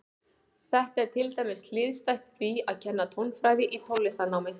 Þetta er til dæmis hliðstætt því að kenna tónfræði í tónlistarnámi.